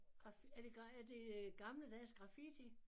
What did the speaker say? Er det er det øh gammeldags graffiti